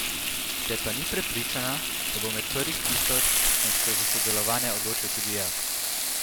Ker pa ni prepričana, da bo med prvih tisoč, sem se za sodelovanje odločil tudi jaz.